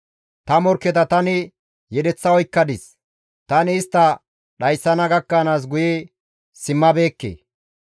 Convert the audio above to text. Ta morkketa tani yedeththa oykkadis; tani istta dhayssana gakkanaas guye simmabeekke.